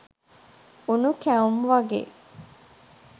උණු කැවුම් වගේ